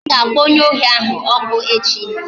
Ha ga-akpọ onye ohi ahụ ọkụ echi